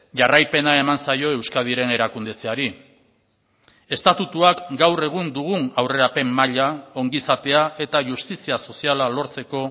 jarraipena eman zaio euskadiren erakundetzeaari estatutuak gaur egun dugun aurrerapen maila ongizatea eta justizia soziala lortzeko